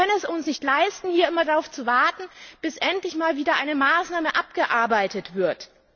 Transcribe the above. Wir können es uns nicht leisten, hier immer darauf zu warten, bis endlich mal wieder eine Maßnahme abgearbeitet wird.